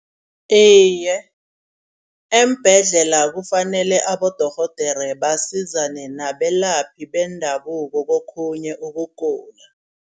Iye eembhedlela kufanele abodorhodere basizane nabelaphi bendabuko kokhunye ukugula.